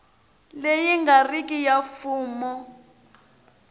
leyi nga riki ya mfumo